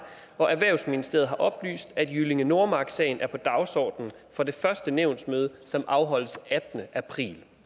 og erhvervsministeriet har oplyst at jyllinge nordmark sagen er på dagsordenen på det første nævnsmøde som afholdes den attende april